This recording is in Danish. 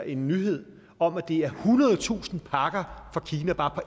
en nyhed om at det er ethundredetusind pakker fra kina bare